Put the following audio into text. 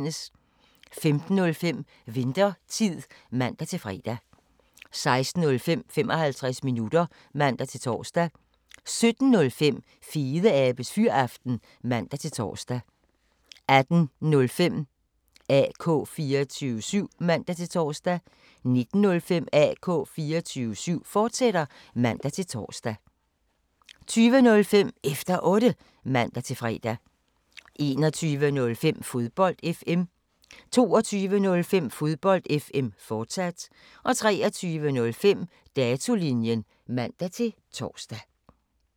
15:05: Winthertid (man-fre) 16:05: 55 minutter (man-tor) 17:05: Fedeabes Fyraften (man-tor) 18:05: AK 24syv (man-tor) 19:05: AK 24syv, fortsat (man-tor) 20:05: Efter Otte (man-fre) 21:05: Fodbold FM 22:05: Fodbold FM, fortsat 23:05: Datolinjen (man-tor)